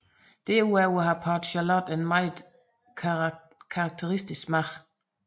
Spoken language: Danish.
Derudover har Port Charlotte en meget karakteristisk smag